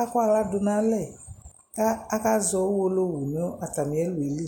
akɔ aɣla dʋ nʋ alɛ kʋ akazɔ Uwolowu nʋ atamɩɛlʋ yɛ li